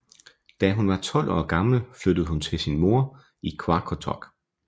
Da hun var 12 år gammel flyttede hun til sin mor i Qaqortoq